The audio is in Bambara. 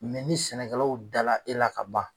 ni sɛnɛkɛlaw dala e la ka ban.